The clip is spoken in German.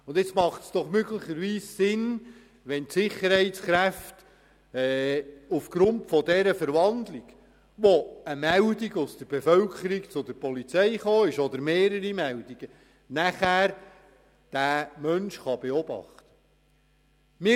Da macht es doch möglicherweise Sinn, wenn aufgrund dieser Verwandlung, über die eine oder mehrere Meldungen aus der Bevölkerung an die Polizei gelangt sind, die Sicherheitskräfte diesen Menschen beobachten können.